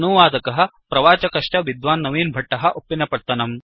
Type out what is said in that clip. अनुवादकः प्रवाचकश्च विद्वान् नवीन् भट्टः उप्पिनपत्तनम्